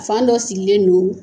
Fan dɔ sigilen don